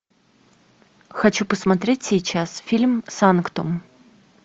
хочу посмотреть сейчас фильм санктум